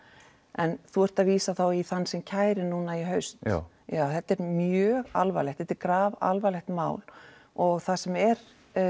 en þú ert að vísa í þann sem kærir núna í haust já já þetta er mjög alvarlegt þetta er grafalvarlegt mál og það sem er